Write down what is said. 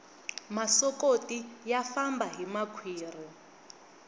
masokoti ya famba hi makhwiri